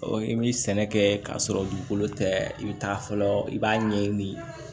i bɛ sɛnɛ kɛ k'a sɔrɔ dugukolo tɛ i bɛ taa fɔlɔ i b'a ɲɛɲini